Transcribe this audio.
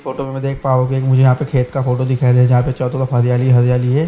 Photo में मैं देख पा रहा हु के एक मुझे यहाँ पे खेत का फोटो दिखाई दे रहा है जहां पे चौथे का हरिआली है।